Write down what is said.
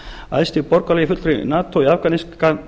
æðsti borgaralegi fulltrúi nato í afganistan